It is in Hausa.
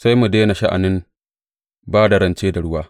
Sai mu daina sha’anin ba da rance da ruwa!